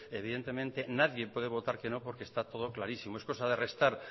evidentemente nadie puede votar que no porque está todo clarísimo es cosa de restar